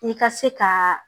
I ka se ka